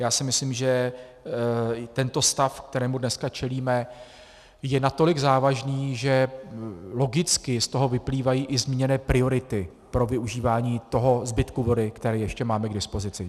Já si myslím, že tento stav, kterému dneska čelíme, je natolik závažný, že logicky z toho vyplývají i zmíněné priority pro využívání toho zbytku vody, který ještě máme k dispozici.